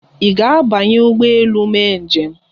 Ị ga-abanye ụgbọ elu mee njem?